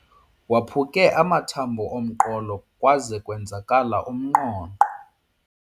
Waphuke amathambo omqolo kwaze kwenzakala umnqonqo.